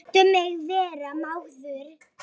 Láttu mig vera maður.